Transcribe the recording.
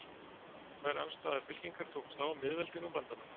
Tvær andstæðar fylkingar tókust á: miðveldin og bandamenn.